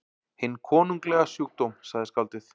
Hinn konunglega sjúkdóm, sagði skáldið.